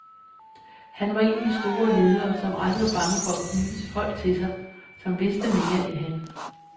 Han var en af de store ledere, som aldrig var bange for at knytte folk til sig, som vidste mere end han.